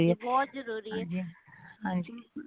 ਹਾਂਜੀ ਬਹੁਤ ਜਰੂਰੀ ਏ